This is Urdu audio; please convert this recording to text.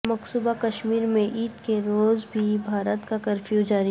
مقبوضہ کشمیر میں عید کے روز بھی بھارت کا کرفیو جاری